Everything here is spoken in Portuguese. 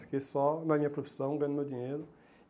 Fiquei só na minha profissão, ganhando meu dinheiro.